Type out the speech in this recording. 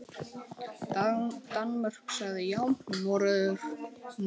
Danmörk sagði já, Noregur nei.